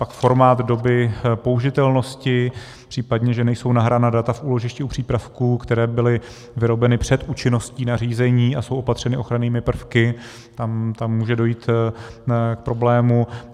Pak formát doby použitelnosti, případně že nejsou nahrána data v úložišti u přípravků, které byly vyrobeny před účinností nařízení a jsou opatřeny ochrannými prvky, tam může dojít k problému.